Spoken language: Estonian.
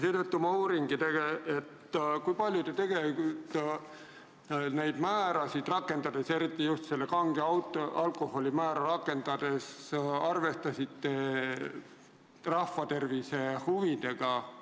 Seetõttu ma uuringi, kui palju te neid määrasid otsustades – pean eriti silmas kange alkoholi määra – arvestasite rahva tervise huvidega.